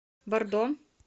бордо